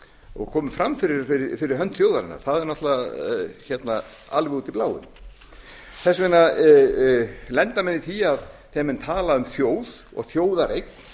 og komi fram fyrir hönd þjóðarinnar það er náttúrlega alveg út í bláinn þess vegna lenda menn í því þegar menn tala um þjóð og þjóðareign